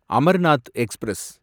Amarnath express